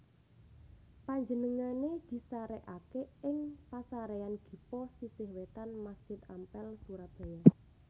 Panjenengané disarèkaké ing Pasaréyan Gipo sisih wétan Masjid Ampel Surabaya